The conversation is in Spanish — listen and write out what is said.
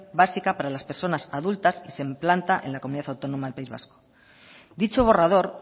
básica para las personas adulta y se implanta en la comunidad autónoma del país vasco dicho borrador